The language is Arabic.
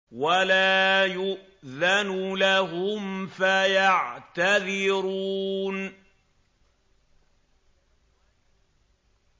وَلَا يُؤْذَنُ لَهُمْ فَيَعْتَذِرُونَ